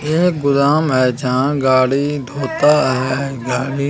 यह गोदाम है जहां गाड़ी धोता है गाड़ी--